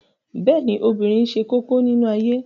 Bẹ́ẹ̀ ni, obìnrin ṣe kókó nínú ayé